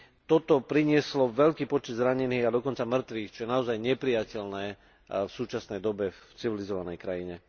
Toto prinieslo veľký počet zranených a dokonca mŕtvych, čo je naozaj neprijateľné v súčasnej dobe v civilizovanej krajine.